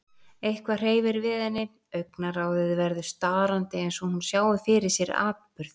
Eitthvað hreyfir við henni, augnaráðið verður starandi eins og hún sjái fyrir sér atburð